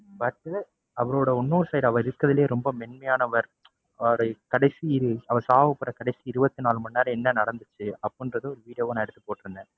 but உ அவரோட இன்னொரு side அவர் இருக்குறதுலேயே ரொம்ப மென்மையானவர். அவருடைய கடைசி அவர் சாகப்போற கடைசி இருபத்தி நாலு மணி நேரம் என்ன நடந்துச்சு, அப்படிங்கிறத ஒரு video வா நான் எடுத்து போட்டுருந்தேன்.